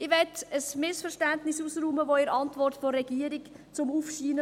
Ich möchte ein Missverständnis aus dem Weg räumen, welches in der Antwort der Regierung aufscheint.